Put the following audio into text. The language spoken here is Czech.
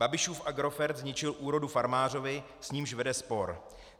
Babišův Agrofert zničil úrodu farmářovi, s nímž vede spor.